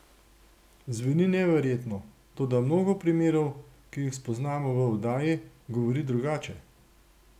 Zveni neverjetno, toda mnogo primerov, ki jih spoznamo v oddaji, govori drugače.